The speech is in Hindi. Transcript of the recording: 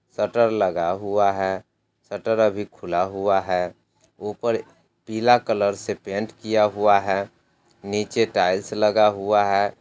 शटर लगा हुआ है शटर अभी खुला हुआ है ऊपर पिला कलर से पेंट किया हुआ है नीचे टाइल्स लगा हुआ है।